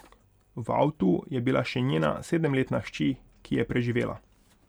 V avtu je bila še njena sedemletna hči, ki je preživela.